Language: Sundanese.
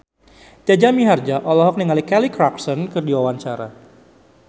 Jaja Mihardja olohok ningali Kelly Clarkson keur diwawancara